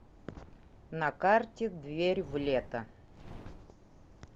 на карте дверь в лето